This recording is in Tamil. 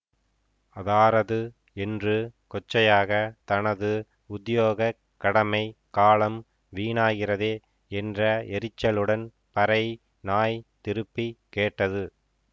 அதாரது என்று கொச்சையாகத் தனது உத்தியோகக் கடமை காலம் வீணாகிறதே என்ற எரிச்சலுடன் பறை நாய் திருப்பி கேட்டது